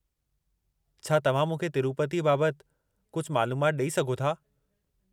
छा तव्हां मूंखे तिरूपतीअ बाबति कुझु मालूमाति ॾेई सघो था?